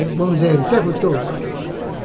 Vamos dizer, interrutor, vai.